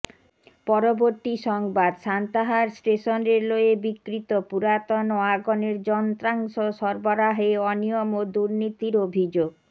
পরবর্তী সংবাদ Santahar station railway বিক্রিত পুরাতন ওয়াগনের যন্ত্রাংশ সরবরাহে অনিয়ম ও দূনির্তীর অভিযোগ